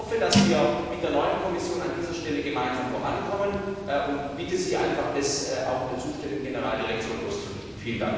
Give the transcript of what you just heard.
Ich hoffe, dass wir mit der neuen Kommission an dieser Stelle gemeinsam vorankommen, und bitte Sie einfach, das in der zuständigen Generaldirektion auszurichten.